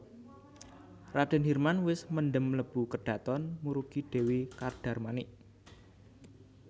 Radèn Hirman wis mendhem mlebu kedhaton murugi Dèwi Kadarmanik